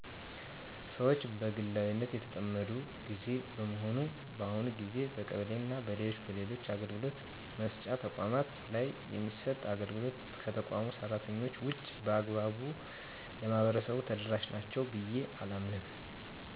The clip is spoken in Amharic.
ሰወች በግላዊነት የተጠመዱበት ግዜ በመሆኑ በአሁኑ ግዜ በቀበሌና በሌሎች በሌሎች አገልግሎት መስጫ ተቋማት ላይ የሚሰጥ አገልግሎት ከተቋሙ ሰራተኞች ውጭ በአግባቡ ለማህበረሰቡ ተደረሻ ናቸው ብየ አላምንም።